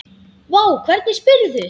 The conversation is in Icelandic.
Vá, hvernig spyrðu?